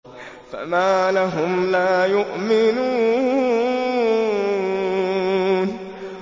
فَمَا لَهُمْ لَا يُؤْمِنُونَ